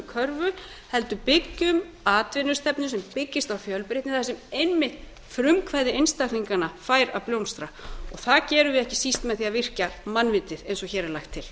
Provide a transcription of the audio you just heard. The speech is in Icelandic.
körfu heldur byggjum atvinnustefnu sem byggist á fjölbreytni þar sem einmitt frumkvæði einstaklinganna fær að blómstra það gerum við ekki síst með því að virkja mannvitið eins og hér er lagt til